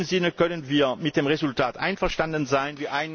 In dem Sinne können wir mit dem Resultat einverstanden sein.